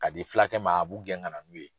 Ka di fulakɛ ma a b'u gɛn ka na n'u ye.